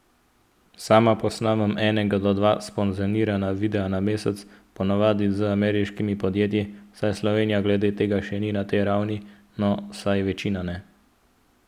Sama posnamem enega do dva sponzorirana videa na mesec, ponavadi z ameriškimi podjetji, saj Slovenija glede tega še ni na tej ravni, no, vsaj večina ne.